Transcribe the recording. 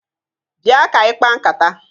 Bịa ka anyị kpaa nkata!